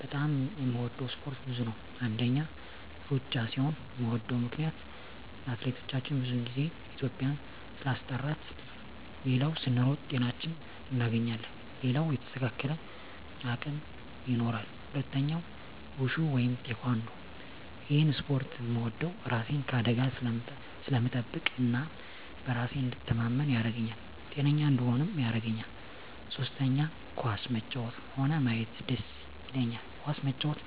በጣም የምወደው እስፓርት ብዙ ነው አንደኛ እሩጫ ሲሆን ምወደው ምክነያት አትሌቶቻችን ብዙ ግዜ ኢትዩጵያን ስላስጠራት ሌላው ስንሮጥ ጤናችን እናገኛለን ሌላው የተስተካከለ አቅም ይኖራል ሁለተኛው ውሹ ወይም ቲካንዶ እሄን እስፖርት ምወደው እራሴን ከአደጋ ስለምጠብቅ እና በራሴ እንድተማመን ያረገኛል ጤነኛ እንድሆንም ያረገኛል ሶስተኛ ኳስ መጫወት ሆነ ማየት ደስ ይለኛል ኳስ መጫወት